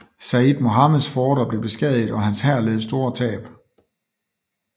Sayyid Mohammeds forter blev beskadiget og hans hær led store tab